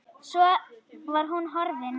Svo var hún horfin.